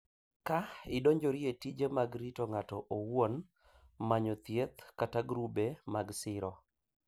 Ka idonjori e tije mag rito ng’ato owuon, manyo thieth kata grube mag siro,